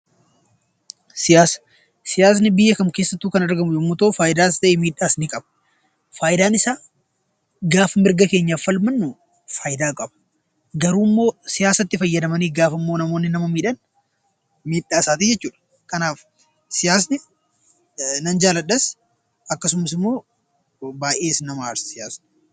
Siyaasa Siyaasni biyya kam keessattuu kan argamu yoo ta'u, fayidaas ta'ee miidhaas ni qaba. Fayidaan isaa gaafa mirga keenyaaf falmannu fayidaa qaba. Garuu immoo siyaasatti fayyadamanii namoonni nama miidhan miidhaa isaati jechuudha. Kanaaf siyaasa nan jaaladhas akkasumas immoo baayyee nama aarsa siyaasti.